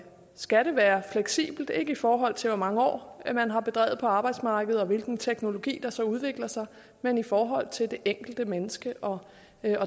skal det være fleksibelt og ikke i forhold til hvor mange år man har været på arbejdsmarkedet og hvilken teknologi der så udvikler sig men i forhold til det enkelte menneske og